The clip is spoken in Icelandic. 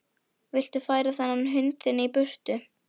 Viltu færa þennan hund þinn í burtu!